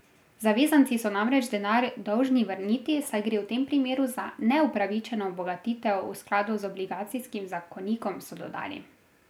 Zavezanci so namreč denar dolžni vrniti, saj gre v tem primeru za neupravičeno obogatitev v skladu z obligacijskim zakonikom, so dodali.